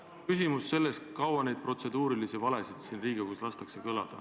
Jah, mul on küsimus selle kohta, kui kaua neid protseduurilisi valesid siin Riigikogus lastakse kõlada.